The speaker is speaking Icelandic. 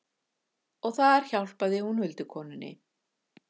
Og þar hjálpar hún huldukonunni.